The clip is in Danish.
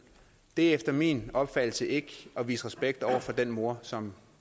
det er efter min opfattelse ikke at vise respekt over for den mor som